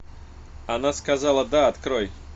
она сказала да открой